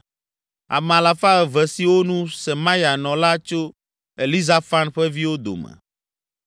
Ame alafa eve (200) siwo nu, Semaya nɔ la, tso Elizafan ƒe viwo dome.